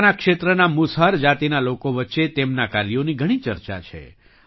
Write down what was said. પોતાના ક્ષેત્રના મુસહર જાતિના લોકો વચ્ચે તેમનાં કાર્યોની ઘણી ચર્ચા છે